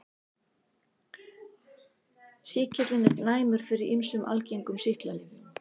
Sýkillinn er næmur fyrir ýmsum algengum sýklalyfjum.